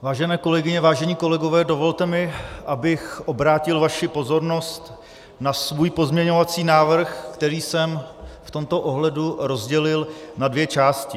Vážené kolegyně, vážení kolegové, dovolte mi, abych obrátil vaši pozornost na svůj pozměňovací návrh, který jsem v tomto ohledu rozdělil na dvě části.